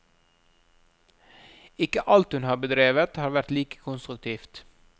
Ikke alt hun har bedrevet har vært like konstruktivt.